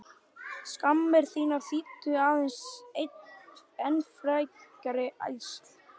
Skammir þýddu aðeins enn frekari ærsl.